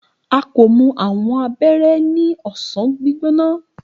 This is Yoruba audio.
a ko mu awọn abẹrẹ ni ọsan gbigbona.